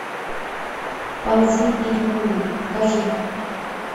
ползи или умри покажи